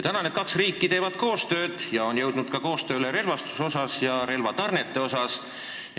Praegu need kaks suurt riiki teevad koostööd, sh ka relvastuse osas.